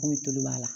Komi tulu b'a la